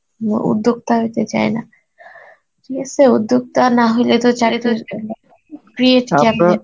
উম উদ্যোক্তা হতে চায় না ঠিক আসে, উদ্যোগটা না হলে তো create